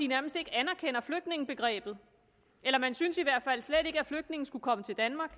nærmest ikke anerkender flygtningebegrebet eller man synes i hvert fald slet ikke at flygtninge skal komme til danmark